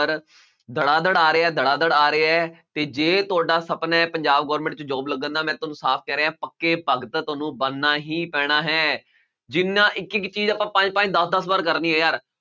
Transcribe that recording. ਦੜਾ ਦੜ ਆ ਰਿਹਾ ਦੜਾ ਦੜ ਆ ਰਿਹਾ ਹੈ ਤੇ ਜੇ ਤੁਹਾਡਾ ਸਪਨਾ ਹੈ ਪੰਜਾਬ government 'ਚ job ਲੱਗਣ ਦਾ ਮੈਂ ਤੁਹਾਨੂੰ ਸਾਫ਼ ਕਹਿ ਰਿਹਾਂ ਪੱਕੇ ਭਗਤ ਤੁਹਾਨੂੰ ਬਣਨਾ ਹੀ ਪੈਣਾ ਹੈ, ਜਿੰਨਾ ਇੱਕ ਇੱਕ ਚੀਜ਼ ਆਪਾਂ ਪੰਜ-ਪੰਜ, ਦਸ-ਦਸ ਵਾਰ ਕਰਨੀ ਹੈ ਯਾਰ।